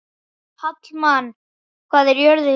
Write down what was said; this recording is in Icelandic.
Hallmann, hvað er jörðin stór?